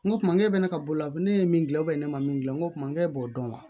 N ko kuma kɛ ne ka bolola ne ye min gilan ne ma min dilan n ko tuma bɛɛ i b'o dɔn wa